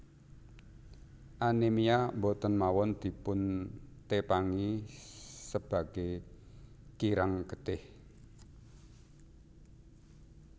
Anemia boten mawon dipun tepangi sebage kirang getih